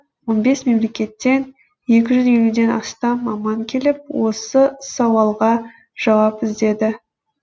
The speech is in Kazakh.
он бес мемлекеттен екі жүз елуден астам маман келіп осы сауалға жауап іздеді